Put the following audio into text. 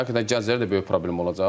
Həqiqətən gənclərə də böyük problem olacaq.